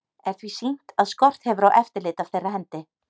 Er því sýnt, að skort hefur á eftirlit af þeirra hendi.